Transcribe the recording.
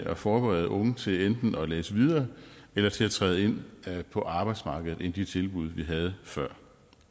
at forberede unge til enten at læse videre eller til at træde ind på arbejdsmarkedet end de tilbud vi havde før